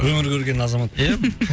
өмір көрген азамат ия